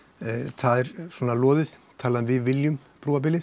það er svona loðið talað um við viljum brúa bilið